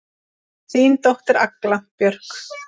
Þín dóttir, Agla Björk.